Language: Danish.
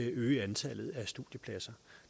øge antallet af studiepladser